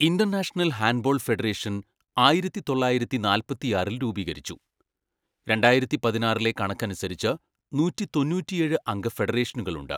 International Handball Federation ആയിരത്തിതൊള്ളായിരത്തിനാൽപത്തിആറിൽ രൂപീകരിച്ചു, രണ്ടായിരത്തിപതിനാറിലെ കണക്കനുസരിച്ച് നൂറ്റിതൊണ്ണൂറ്റിയേഴ് അംഗ ഫെഡറേഷനുകളുണ്ട്.